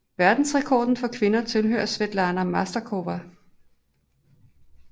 Verdensrekorden for kvinder tilhører Svetlana Masterkova